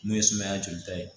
Mun ye sumaya jolita ye